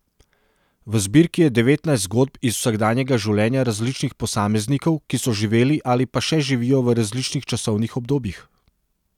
V zbirki je devetnajst zgodb iz vsakdanjega življenja različnih posameznikov, ki so živeli ali pa še živijo v različnih časovnih obdobjih.